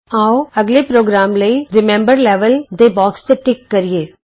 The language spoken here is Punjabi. ਆਉ ਅੱਗਲੇ ਪ੍ਰੋਗਰਾਮ ਲਈ ਰਿਮੈਂਬਰ ਲੈਵਲ ਦੇ ਬੋਕਸ ਤੇ ਟਿਕ ਕਰੀਏ